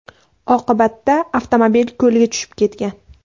Oqibatda avtomobil ko‘lga tushib ketgan.